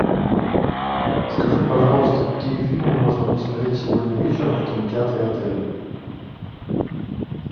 скажи пожалуйста какие фильмы можно посмотреть сегодня вечером в кинотеатре отеля